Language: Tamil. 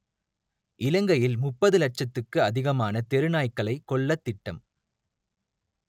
இலங்கையில் முப்பது லட்சத்துக்கு அதிகமான தெரு நாய்க்களை கொல்லத் திட்டம்